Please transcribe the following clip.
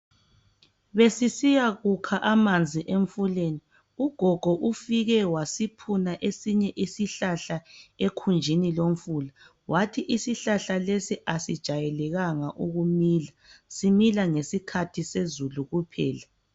Besisiya kukha amanzi emfuleni, ugogo ufike wasiphuna esinye isihlahla ekhunjini lomfula wathi isihlahla lesi asijayelekanga ukumila. Simila ngesikhathi sezulu kuphela.